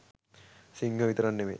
සිංහයො විතරක් නෙමේ